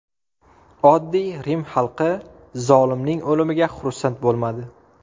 Oddiy Rim xalqi zolimning o‘limiga xursand bo‘lmadi.